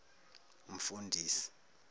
mfundisi